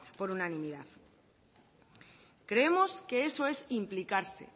por unanimidad creemos que eso es implicarse